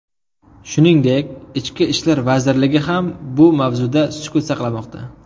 Shuningdek, Ichki ishlar vazirligi ham bu mavzuda sukut saqlamoqda.